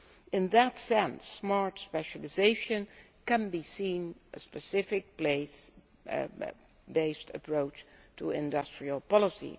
In that sense Smart Specialisation can be seen as a specific based approach to industrial policy.